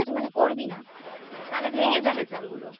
ঠিক আছে মানে করবি না তাহলে ভেঙে যাবে চালগুলো